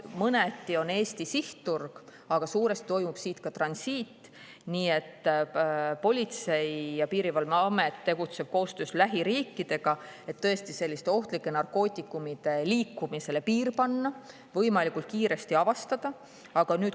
Mõneti on Eesti sihtturg, aga suuresti toimub transiit, nii et Politsei- ja Piirivalveamet tegutseb koostöös lähiriikidega, et tõesti selliste ohtlike narkootikumide liikumisele piir panna, need võimalikult kiiresti avastada.